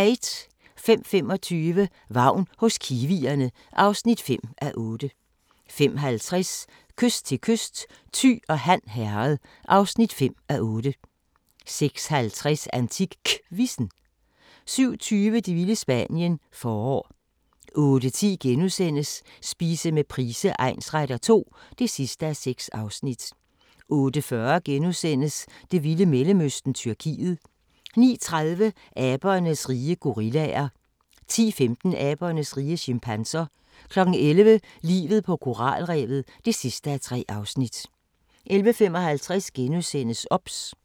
05:25: Vagn hos kiwierne (5:8) 05:50: Kyst til kyst: Thy og Han Herred (5:8) 06:50: AntikQuizzen 07:20: Det vilde Spanien – forår 08:10: Spise med Price egnsretter II (6:6)* 08:40: Det vilde Mellemøsten -Tyrkiet * 09:30: Abernes rige - gorillaer 10:15: Abernes rige - chimpanser 11:00: Livet på koralrevet (3:3) 11:55: OBS *